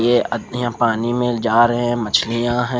ये आधे पानी में जा रहे मछिलया है।